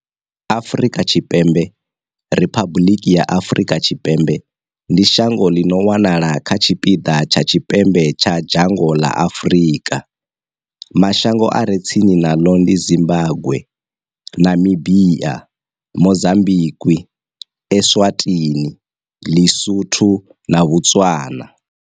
Afrika Tshipembe, Riphabuḽiki ya Afrika Tshipembe, ndi shango ḽi no wanala kha tshipiḓa tsha tshipembe tsha dzhango ḽa Afurika. Mashango a re tsini naḽo ndi Zimbagwe, Namibia, Mozambikwi, Eswatini, LeSotho na Botswana.